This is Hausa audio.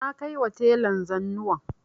Na kaima telan zanuwan